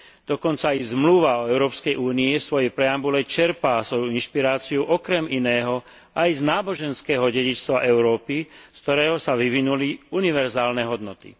Dokonca i Zmluva o Európskej únii vo svojej preambule čerpá svoju inšpiráciu okrem iného aj z náboženského dedičstva Európy, z ktorého sa vyvinuli univerzálne hodnoty.